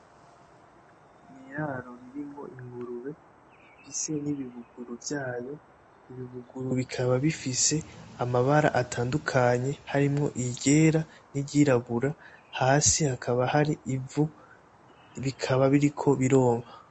Mu iraro ririmo ingurube ifise n'ibibuguru vyayo, ibibuguru bikaba bifise amabara atandukanye harimwo iryera ni ryirabura hasi hakaba ivu, bikaba biriko bironka.